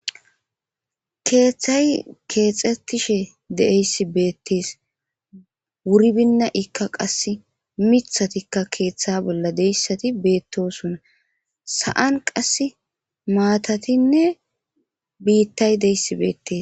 Keeththay keexettishe de7eyssi beettees wuri binna ikka qasse mithatikka keeththa bolla deyssati beettosuna sa7an qass maatatinne biittay deyssi beettes.